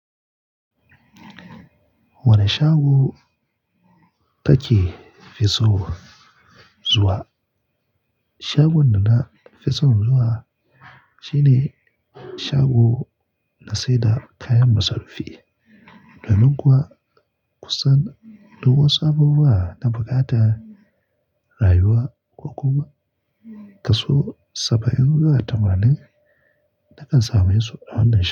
Wane shago ka ke fiso zuwa? Shagon da na fi son zuwa, shine shago na saida kayan masarufi. Ka lunguwa kusan duk wasu abubuwa da bukata rayuwa, ko kuma kaso saba'in da tamanin nakan samu yatsu a wannan shagon.